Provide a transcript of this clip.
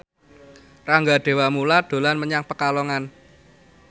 Rangga Dewamoela dolan menyang Pekalongan